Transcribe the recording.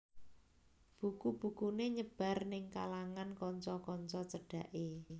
Buku bukuné nyebar ning kalangan kanca kanca cedhaké